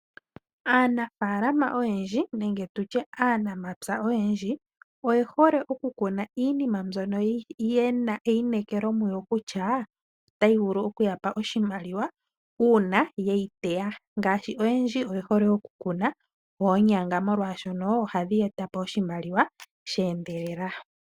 Aanafaalama nenge aanamapya oyendji oye hole okukuna iima mbyoka ye na eyineekelo kutya otayi vulu oku ya pa oshimaliwa uuna ye yi teya. Oyendji oye hole okukuna oonyanga oshoka ohadhi ya etele oshimaliwa sha endelela.